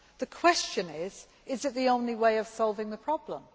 The question is, is it the only way of solving a problem?